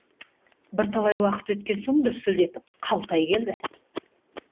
бірталай уақыт өткен соң дүрсілдетіп қалтай келді